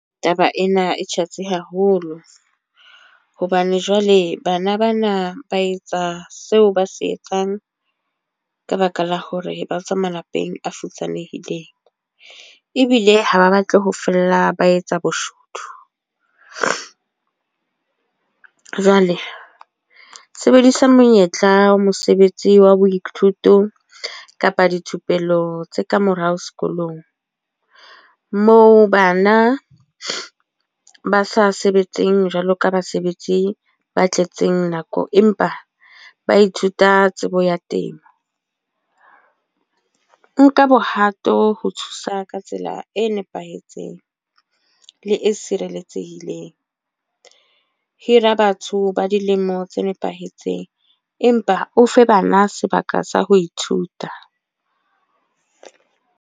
Taba ena e tjhatsi haholo. Hobane jwale bana bana ba etsa seo ba se etsang, ka baka la hore ba tswa malapeng a futsanehileng. Ebile ha ba batle ho fella ba etsa boshodu. Jwale sebedisa monyetla wa mosebetsi wa boithuto kapa dithupelo tse kamorao sekolong. Moo bana ba sa sebetseng jwalo ka basebetsi ba tletseng nako. Empa ba ithuta tsebo ya temo. Nka bohato ho thusa ka tsela e nepahetseng, le e sireletsehileng. Hira batho ba dilemo tse nepahetseng, empa o fe bana sebaka sa ho ithuta.